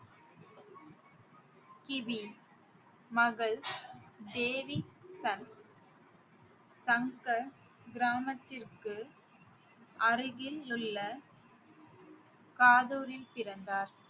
கிபி மகள் தேவி சந்த் தங்கள் கிராமத்திற்கு அருகிலுள்ள காதூரில் பிறந்தார்